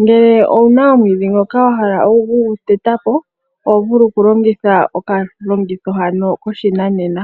Ngele owuna omwiidhi ngoka wa hala okuguteta po oho vulu okulongitha okalongitho hano koshinanena.